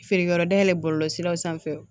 Feere yɔrɔ dayɛlɛn bɔlɔlɔsiraw sanfɛ